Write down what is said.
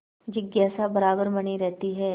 जिज्ञासा बराबर बनी रहती है